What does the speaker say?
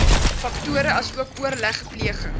faktore asook oorlegpleging